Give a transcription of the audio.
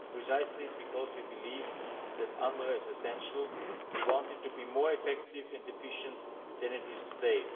Precisely because we believe that UNRWA is essential, we want it to be more effective and efficient than it is today.